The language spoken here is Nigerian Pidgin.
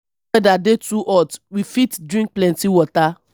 if weather dey too hot we fit drink plenty water